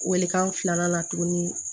Welekan filanan tuguni